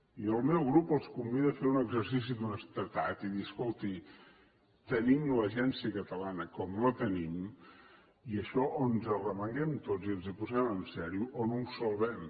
i el meu grup els convida a fer un exercici d’honestedat i dir escolti tenim l’agència catalana com la tenim i això o ens arremanguem tots i ens hi posem seriosament o no ho salvem